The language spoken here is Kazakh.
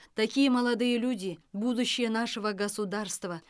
такие молодые люди будущее нашего государства